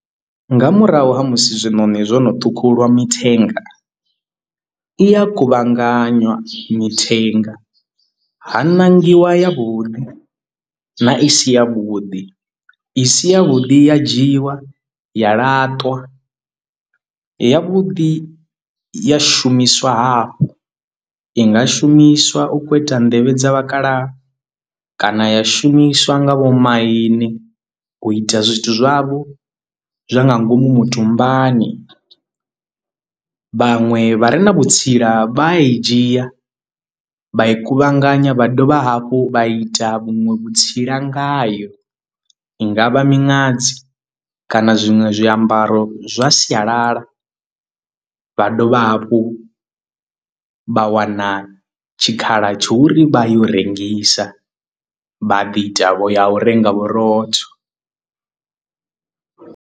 Nga murahu ha musi zwiṋoṋi zwono ṱhukhulwa mithenga i ya kuvhanganywa mithenga ha ṋangiwa ya vhuḓi na i si ya vhuḓi i si ya vhuḓi ya dzhiwa ya laṱwa ya vhuḓi ya shumiswa hafhu. I nga shumiswa u khou ita nḓevhe dza vhakalaha kana ya shumiswa nga vhomaine u ita zwithu zwavho zwa nga ngomu mutumbani vhaṅwe vha re na vhutsila vha a i dzhia vha i kuvhanganya vha dovha hafhu vha ita vhuṅwe vhutsila ngayo i ngavha miṅadzi kana zwiṅwe zwiambaro zwa sialala vha dovha hafhu vha wana tshikhala tsho ri vha yo u rengisa vha ḓi tavho ya u renga vhurotho.